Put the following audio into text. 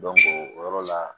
o yɔrɔ la